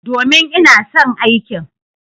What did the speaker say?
Domin, ina son aikin.